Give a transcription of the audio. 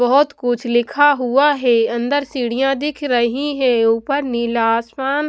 बहुत कुछ लिखा हुआ है अंदर सीढ़ियां दिख रही है ऊपर नीला आसमान--